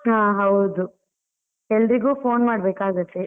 ಹಾ ಹೌದು, ಎಲ್ರಿಗು phone ಮಾಡ್ಬೇಕ್ಕಾಗತ್ತೆ.